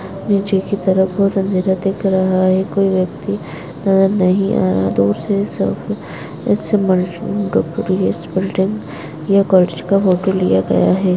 नीचे की तरफ बहोत अंधेरा दिख रहा है कोई व्यक्ति नजर नहीं आ रहा बिल्डिंग ये फोटो लिया गया है।